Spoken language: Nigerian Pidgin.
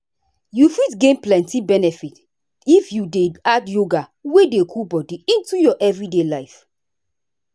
you fit gain plenty benefit if you dey add yoga wey dey cool body into your everyday life.